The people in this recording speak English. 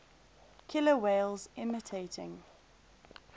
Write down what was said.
killer whales imitating